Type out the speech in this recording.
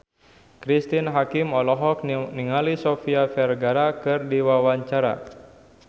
Cristine Hakim olohok ningali Sofia Vergara keur diwawancara